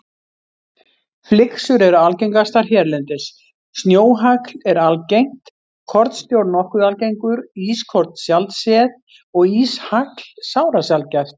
Flyksur eru algengastar hérlendis, snjóhagl er algengt, kornsnjór nokkuð algengur, ískorn sjaldséð og íshagl sárasjaldgæft.